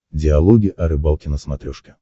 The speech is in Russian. диалоги о рыбалке на смотрешке